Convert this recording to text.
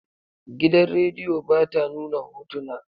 Gidan radiyo ba ta nuna hotuna.